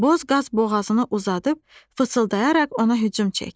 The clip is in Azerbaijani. Boz qaz boğazını uzadıb fısıldayaraq ona hücum çəkdi.